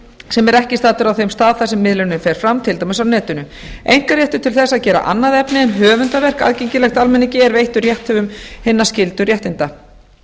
sem er ekki staddur á þeim stað þar sem miðlunin fer fram til dæmis á netinu einkaréttur til þess að gera annað efni en höfundaverk aðgengileg almenningi er veittur rétthöfunum hinna skyldu réttinda